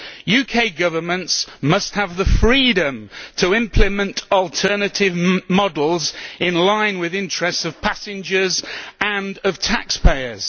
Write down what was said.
UK governments must have the freedom to implement alternative models in line with the interests of passengers and of taxpayers.